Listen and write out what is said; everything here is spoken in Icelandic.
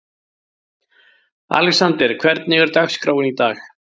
Alexander, hvernig er dagskráin í dag?